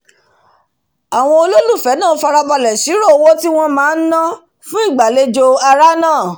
àwon olólùfẹ̀ẹ́ náà farabàlẹ̀ sírò owó tíwón máá dá fún ìgbàlejò àrà nàà